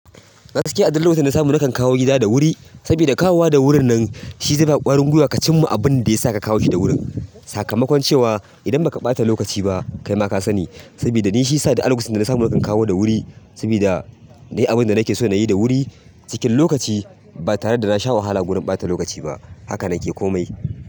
Gaskiya, a duk lokacin da na samu nakan kawo gida da wuri, sabida kawowa da wurin nan shi zai ba ka ƙwarin gwiwa ka cimma abin da yasa ka kawo shi da wuri. Sakamakon cewa idan ba ka ɓata lokaci ba, kai ma ka sani. Sabida ni shiyasa duk a lokacin da na samu nakan kawo da wuri, sabida na yi abin da nake so na yi da wuri cikin lokaci ba tare da na sha wahala gurin ɓata lokaci ba. Haka na ke komai.